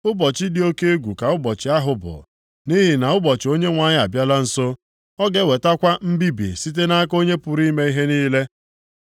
Ụbọchị dị oke egwu ka ụbọchị ahụ bụ! Nʼihi na ụbọchị Onyenwe anyị abịala nso. Ọ ga-ewetakwa mbibi site nʼaka Onye pụrụ ime ihe niile.